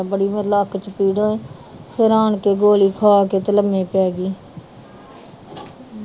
ਬੜੀ ਲੱਤ ਚ ਪੀੜ ਫੇਰ ਆਣ ਕੇ ਗੋਲੀ ਖਾ ਕੇ ਤੇ ਲੰਮੇ ਪੈ ਗਈ